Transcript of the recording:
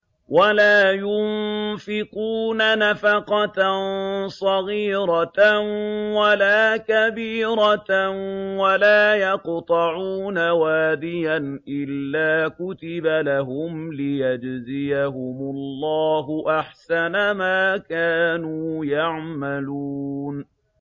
وَلَا يُنفِقُونَ نَفَقَةً صَغِيرَةً وَلَا كَبِيرَةً وَلَا يَقْطَعُونَ وَادِيًا إِلَّا كُتِبَ لَهُمْ لِيَجْزِيَهُمُ اللَّهُ أَحْسَنَ مَا كَانُوا يَعْمَلُونَ